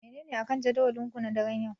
Menene akan jadawalinku na daren yau?